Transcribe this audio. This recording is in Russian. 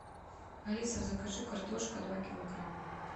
алиса закажи картошка два килограмма